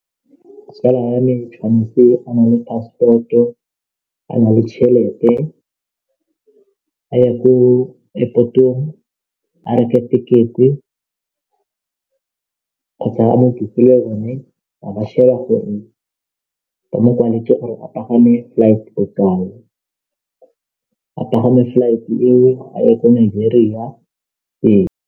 Tsala ya me tshwantse a le passport a na le tšhelete a ye ko airport-ong a reke tekete kgotsa mo yone a ba sheba gore ba mo kwaletse gore a pagame flight ko kae, a pagame flight eo a ye ko Nigeria ee.